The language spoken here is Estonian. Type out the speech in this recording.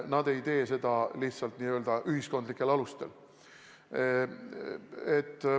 Nad ei tee seda lihtsalt n-ö ühiskondlikel alustel.